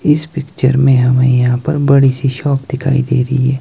इस पिक्चर में हमें यहां पर बड़ी सी शॉप दिखाई दे रही है।